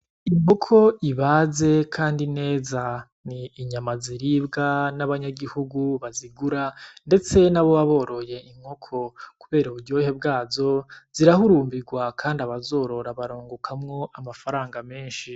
Inkoko ibaze kandi neza, ni inyama ziribwa n'abanyagihugu bazigura ndetse n'aboba boroye inkoko. Kubera uburyohe bwazo zirahurumbirwa kandi abazorora barungukamwo amafarana menshi.